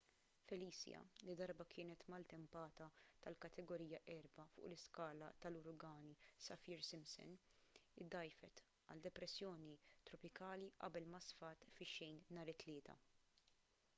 felicia li darba kienet maltempata tal-kategorija 4 fuq l-iskala tal-uragani saffir-simpson iddgħajfet għal depressjoni tropikali qabel ma sfat fix-xejn nhar it-tlieta